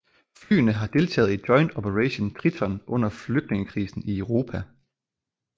Flyene har deltaget i Joint Operation Triton under flygtningekrisen i Europa